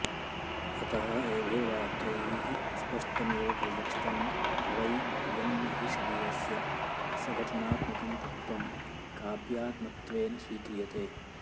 अतः एभिर्वाक्यैः स्पष्टमेव परिलक्षितं भवै यन्न हि शरीरस्य सघटनात्मकं तत्त्वं काव्यात्मत्वेन स्वीक्रियते